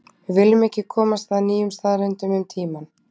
við viljum ekki komast að nýjum staðreyndum um tímann